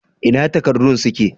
Ina takardun suke?